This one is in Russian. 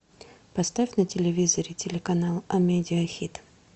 поставь на телевизоре телеканал амедиа хит